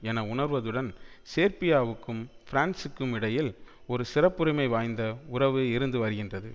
என உணர்வதுடன் சேர்பியாவுக்கும் பிரான்சுக்கும் இடையில் ஒரு சிறப்புரிமை வாய்ந்த உறவு இருந்து வருகின்றது